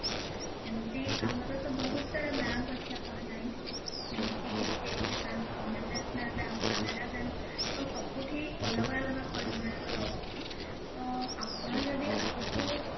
ଏମିତି ଆମର ତ ବହୁତ ସାରା bank ଅଛି ଆପଣ ଜାଣିଛନ୍ତି ଏମିତି କି HDFC bank Punjab national bank Canara bank ତ ସବୁଥି ଅଲଗ ଅଲଗା ପରିମାଣରେ ରହୁଛି ତ ଆପଣ ଯଦି ଆଗକୁ